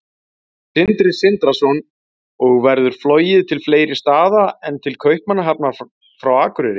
Sindri Sindrason: Og verður flogið til fleiri staða en til Kaupmannahafnar frá Akureyri?